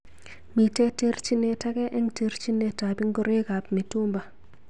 Mitei terjinet age ak terjinet ab ngoroik ab mitumba.